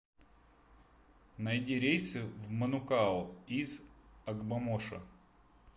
найди рейсы в манукау из огбомошо